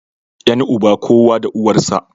Yan uba, kowa da uwar sa